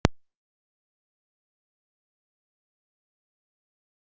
Kristinn: Hvenær komið þið undan feldi og takið ákvörðun?